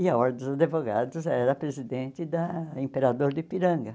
E a Ordem dos Advogados era a presidente da Imperador de Ipiranga.